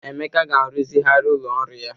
Emeka ga-aruzigharị ụlọ ọrụ ya.